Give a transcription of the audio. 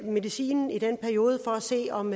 medicinen i den periode for at se om